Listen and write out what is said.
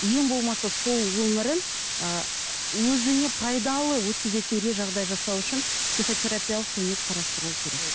ең болмаса сол өмірін ыыы өзіне пайдалы өткізетіндей жағдай жасау үшін психо терапиялық көмек қарастырылуы керек